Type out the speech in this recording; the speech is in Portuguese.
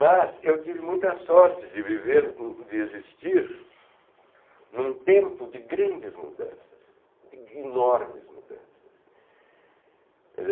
Mas eu tive muita sorte de viver, de existir em um tempo de grandes mudanças, de enormes mudanças.